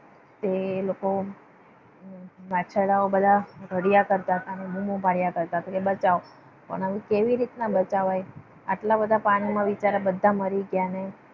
તો એ લોકો બધા વાછરડાઓ બધા રડ્યા કરતા હતા. અને બૂમો પાડ્યા કરતા હતા કે બચાવ પણ હવે કેવી રીતના બચાવાય? આટલા બધા પાણીમાં બિચારા બધા મરી ગયા. અને